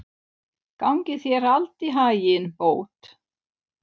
Gangi þér allt í haginn, Bót.